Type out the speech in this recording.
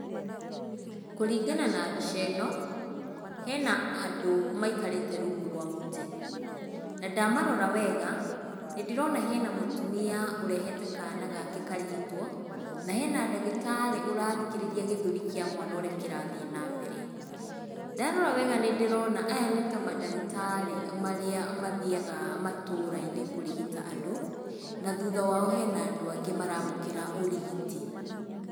Kũringana na mbica ĩno, hena andũ maikarĩte rungu rwa mũtĩ. Na ndamarora wega nĩ ndĩrona hena mũtumia ũrehete kana gake karigitwo, na hena ndagĩtarĩ ũrathikĩrĩria gĩthũri kia mwana ũrĩa kĩrathiĩ nambere. Ndarora wega nĩndĩrona aya nĩta mandagĩtarĩ marĩa mathiaga matũũra-inĩ kũrigita andũ, na thuutha wao hena andũ angĩ maramũkĩra ũrigiti.